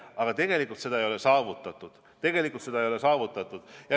Aga tegelikult seda ei ole saavutatud.